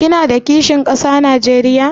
Kina da kishin kasa Najeriya?